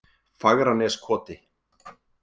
Fagraneskoti